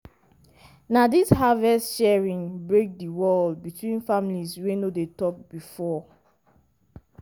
na dis harvest sharing break di wall between families wey no dey talk before.